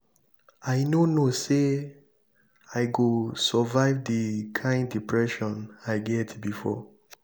i no no know say i go survive the kin depression i get before.